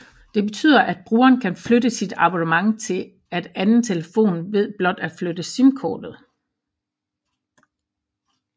Det betyder at brugeren kan flytte sit abonnement til at anden telefon ved blot at flytte simkortet